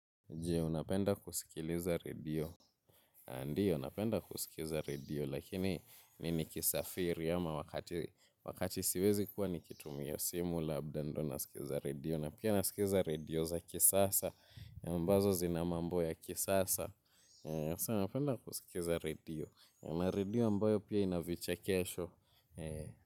Jee, unapenda kusikiliza redio. Ndiyo, napenda kuskiza redio, lakini ni nikisafiri ama wakati siwezi kuwa nikitumia simu labda ndo naskiza redio. Na pia nasikiza redio za kisasa, ambazo zina mambo ya kisasa. Sasa napenda kuskiza redio. Na redio ambayo pia ina vichekesho.